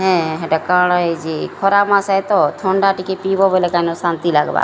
ଏ୍ଁ ହେଟା କଣ ହେଇଚି ଖରା ମାସେ ତ ଥଣ୍ଡା ଟିକେ ପିଇବ ବେଲେ କାଇଁନ ଶାନ୍ତି ଲାଗ୍ ବା --